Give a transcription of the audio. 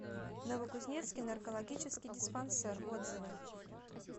новокузнецкий наркологический диспансер отзывы